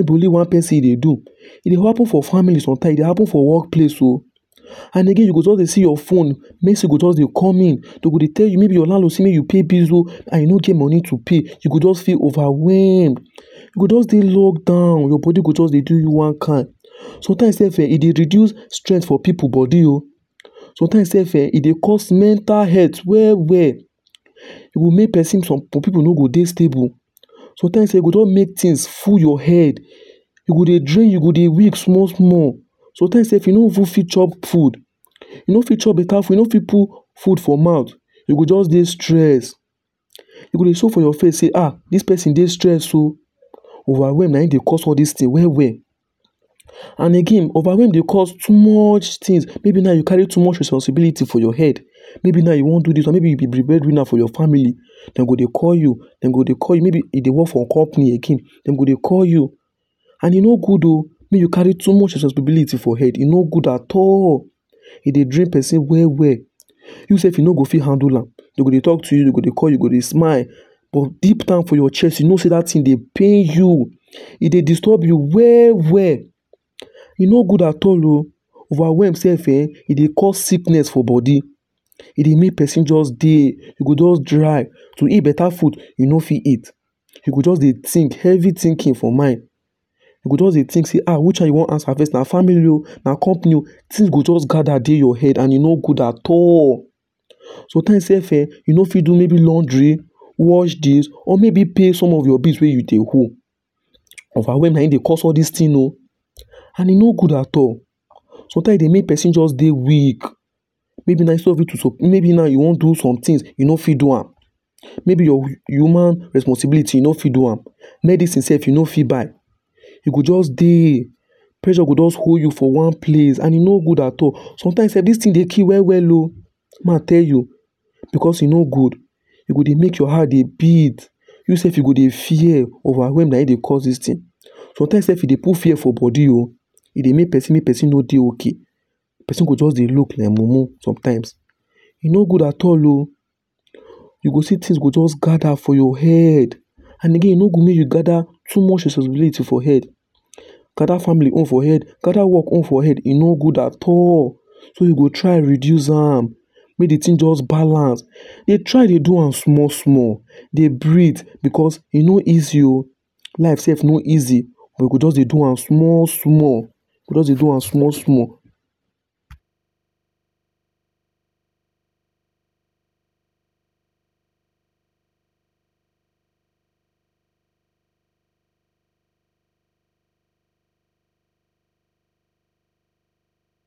no be only one person e dey do. E dey happen for family, sometimes e dey happen for work place o. And again you go just dey see your phone, message go just dey come in. Dey go dey tell you maybe your landlord say make you pay bills o and you no get money to pay you go just feel overwhelmed. You go just dey locked down, your body go just dey do you one kind. Sometimes self um e dey reduce stress for pipu body o. Sometimes self um e dey cause mental health well well. E go make person, some pipu no go dey stable .sometime e go just make things full you head. You go dey drink, you go dey weep small small. sometimes self you no even fit chop food. You no fit chop beta food, you no fit put food for mouth you go just dey stressed. E go dey show for your face sey ah this person dey stressed o overwhelmed na im dey cause all these things well well. And again overwhelm dey cause too much things. Maybe now you carry too much responsibility for your head. Maybe now you wan do this one, maybe e be bread winner for your family, dem go dey call you, dem go dey call you, maybe e dey work for company again dem go dey call you. And e no good o make you carry too much responsibility for head, e no good at all. E dey drain person well well. You self you no go fit handle am, dem go dey talk to you, you go dey call you go dey smile but deep down for your chest you know sey that thing dey pain you, e dey disturb you well well. E no good at all o. Overwhelm self um, e dey cause sickness for body, e dey make person just dey. e go just dry to eat beta food, you no fit eat. You go just dey think, heavy thinking for mind. You go just dey think say um which one you wan answer first; na family o na company o things go just gather dey your head and e no good at all. Sometimes self um you no fit do maybe laundry wash dish or maybe pay some of your bills wey you dey owe. Overwhelm na im dey cause all those things o and e no good at all. Sometimes e dey make person just dey weak. Maybe now Maybe now you wan do somethings you no fit do am. Maybe your human responsibility you no fit do am, medicine self you no fit buy You go just dey, pressure go just hold you for one place and e no good at all. Sometimes self this things dey kill well well o Make I tell you because e no good. E go dey make your heart dey beat, you self you go dey fear. Overwhelm, na im dey cause all these things. Sometimes self e dey put fear for body o. E dey make person make person no dey okay. Person go just dey look like mumu sometimes. E no good at all o. You go see things go just gather for your head and again e no good make you gather too much responsibilities for your head, gather family own for head gather work own for head, e no good at all. So you go try reduce am make de thing just balance. Dey try dey do am small small, dey breathe because e no easy o. Life self no easy. You go just dey do am small small, you go just dey do am small small.